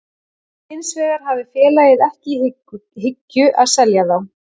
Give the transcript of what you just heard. Hins vegar hafi félagið ekki í hyggju að selja þá.